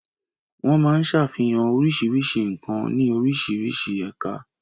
Wọ́n máa ń ṣàfihàn oríṣiríṣi nǹkan ní oríṣiríṣi ẹ̀ka.